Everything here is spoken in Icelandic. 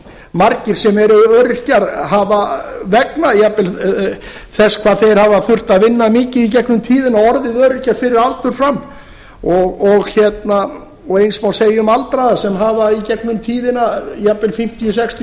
margir sem eru öryrkjar hafa jafnvel vegna þess hvað þeir hafa þurft að vinna mikið í gegnum tíðina og orðið öryrkjar fyrir aldur fram og eins má segja um aldraða sem hafa í gegnum tíðina jafnvel fimmtíu til sextíu ár